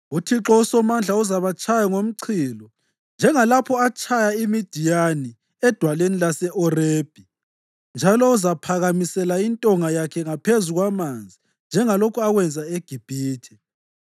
UThixo uSomandla uzabatshaya ngomchilo njengalapho atshaya iMidiyani edwaleni lase-Orebi, njalo uzaphakamisela intonga yakhe ngaphezu kwamanzi njengalokhu akwenza eGibhithe.